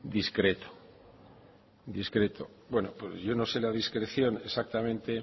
discreto discreto bueno yo no sé la discreción exactamente